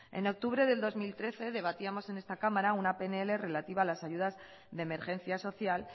en octubre del dos mil trece debatíamos en esta cámara una pnl relativa a las ayudas de emergencia social